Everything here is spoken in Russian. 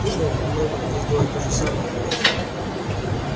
и мы мы могли сделать то же самое но нет